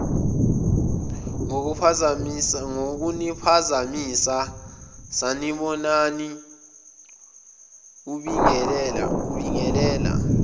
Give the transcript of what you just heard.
ngokuniphazamisa sanibonani ubingelela